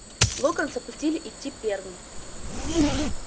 локонса пустили идти первым